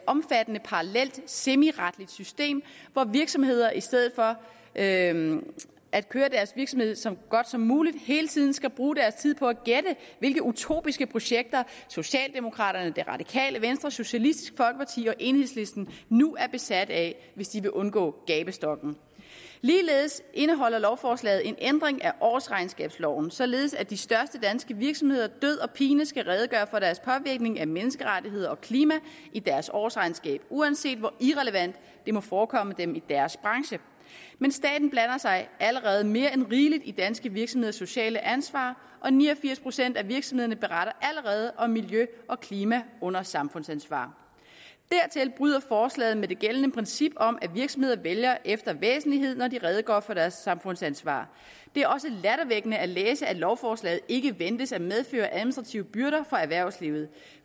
omfattende parallelt semiretligt system hvor virksomheder i stedet for at at køre deres virksomhed så godt som muligt hele tiden skal bruge deres tid på at gætte hvilke utopiske projekter socialdemokraterne det radikale venstre socialistisk folkeparti og enhedslisten nu er besat af hvis de vil undgå gabestokken ligeledes indeholder lovforslaget en ændring af årsregnskabsloven således at de største danske virksomheder død og pine skal redegøre for deres påvirkning af menneskerettigheder og klima i deres årsregnskab uanset hvor irrelevant det må forekomme dem i deres branche men staten blander sig allerede mere end rigeligt i danske virksomheders sociale ansvar og ni og firs procent af virksomhederne beretter allerede om miljø og klima under samfundsansvar dertil bryder forslaget med det gældende princip om at virksomheder vælger efter væsentlighed når de redegør for deres samfundsansvar det er også lattervækkende at læse at lovforslaget ikke ventes at medføre administrative byrder for erhvervslivet